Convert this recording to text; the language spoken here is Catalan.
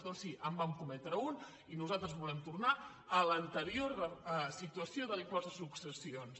doncs sí en vam cometre un i nosaltres volem tornar a l’anterior situació de l’impost de successions